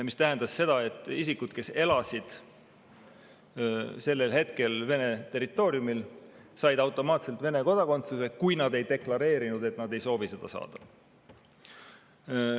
See tähendas seda, et isikud, kes elasid sellel hetkel Venemaa territooriumil, said automaatselt Vene kodakondsuse, kui nad ei deklareerinud, et nad ei soovi seda saada.